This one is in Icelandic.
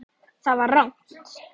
ÞAÐ VAR RANGT.